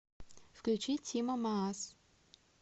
включи тимо маас